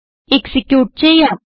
execute ചെയ്യാം